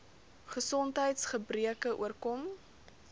gesondheids gebreke oorkom